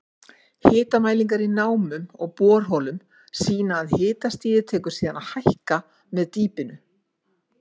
Hitamælingar í námum og borholum sýna að hitastigið tekur síðan að hækka með dýpinu.